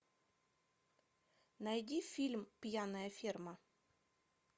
найди фильм пьяная ферма